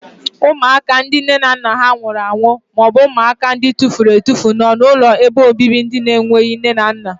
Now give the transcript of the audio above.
Ụmụaka nne na nna ha nwụrụ anwụ maọbụ ụmụaka atufuru atufu nọ n'ụlọobibi ndị enweghị nne na nna.